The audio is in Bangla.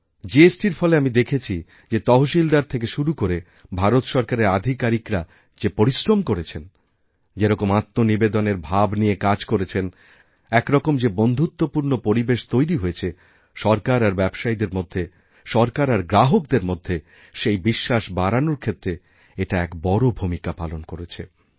জিএসটি র ফলে আমি দেখেছি যে তহশিলদার থেকে শুরু করে ভারত সরকারেরআধিকারিকরা যে পরিশ্রম করেছেন যেরকম আত্মনিবেদনের ভাব নিয়ে কাজ করেছেন এক রকম যেবন্ধুত্বপূর্ণ পরিবেশ তৈরি হয়েছে সরকার আর ব্যবসায়ীদের মধ্যে সরকার আর গ্রাহকদেরমধ্যে সেই বিশ্বাস বাড়ানোর ক্ষেত্রে এটা এক বড় ভূমিকা পালন করেছে